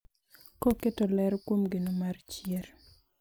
Koketo ler kuom geno mar chier.